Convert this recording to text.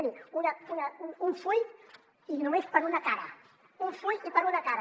miri un full i només per una cara un full i per una cara